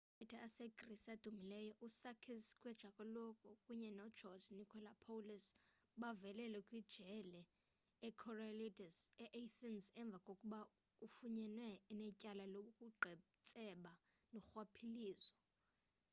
amagqwetha asegrisi adumileyo usakis kechagioglou kunye nogeorge nikolakopoulos bavalelwe kwijele ikorydallus eathens emva kokuba efunyenwe enetyala lobuqhetseba norhwaphilizo